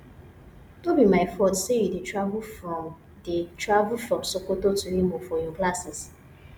no be my fault say you dey travel from dey travel from sokoto to imo for your classes